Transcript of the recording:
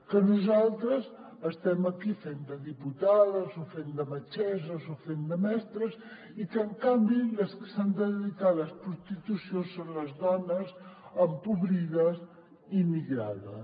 que nosaltres estem aquí fent de diputades o fent de metgesses o fent de mestres i que en canvi les que s’han de dedicar a les prostitució són les dones empobrides i migrades